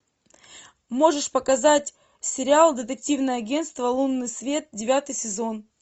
можешь показать сериал детективное агенство лунный свет девятый сезон